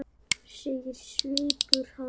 segir svipur hans.